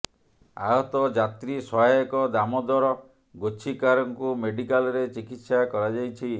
ଆହତ ଯାତ୍ରୀ ସହାୟକ ଦାମୋଦର ଗୋଚ୍ଛିକାରଙ୍କୁ ମେଡିକାଲରେ ଚିକିତ୍ସା କରାଯାଇଛି